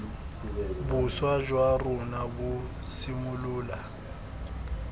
boswa jwa rona bo simolola